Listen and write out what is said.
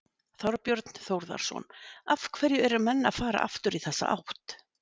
Þorbjörn Þórðarson: Af hverju eru menn að fara aftur í þessa átt?